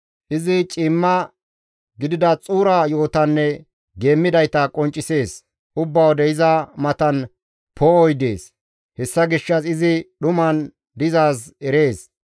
Izi ciimma gidida xuura yo7otanne geemmidayta qonccisees; ubba wode iza matan poo7oy dees; hessa gishshas izi dhuman dizaaz erees.